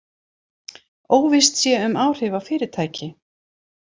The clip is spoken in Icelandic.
Óvíst sé um áhrif á fyrirtæki